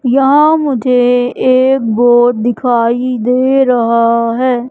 यहां मुझे एक बोर्ड दिखाई दे रहा है।